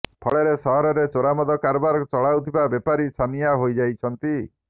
ଫଳରେ ସହରରେ ଚୋରାମଦ କାରବାର ଚଳାଉଥିବା ବେପାରୀ ଛାନିଆଁ ହୋଇଯାଇଛନ୍ତି